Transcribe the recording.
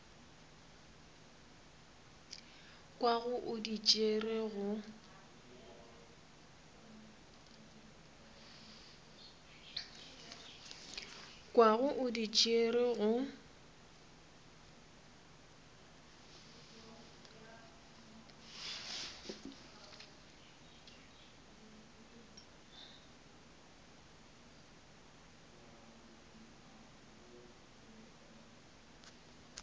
kwago o di tšere go